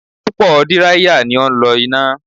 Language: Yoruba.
Púpò díráíyà ni ó ń lọ ina